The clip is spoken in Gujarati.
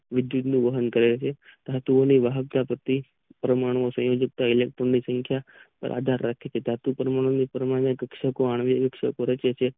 વિદ્યુત નું વહન કરે છે ધાતુઓની વાહકતા પ્રતિ પરમાણુ ઇલેક્ટ્રોન ની સંખ્યા પર આધાર રાખે છે ધાતુ પરમાણુ ની પરમાણ્વીય આણ્વીય ઉત્સર્ગ કરે છે